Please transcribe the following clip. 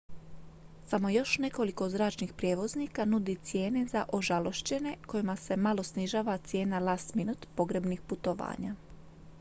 samo još nekoliko zračnih prijevoznika nudi cijene za ožalošćene kojima se malo snižava cijena last-minute pogrebnih putovanja